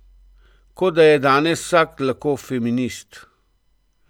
Kot da je danes vsak lahko feminist.